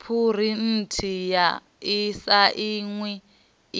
phurinthiwa i sainwe